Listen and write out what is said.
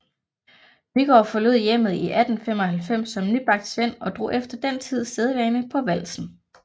Nygaard forlod hjemmet i 1895 som nybagt svend og drog efter den tids sædvane på valsen